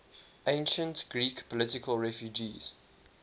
ancient greek political refugees